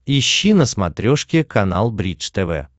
ищи на смотрешке канал бридж тв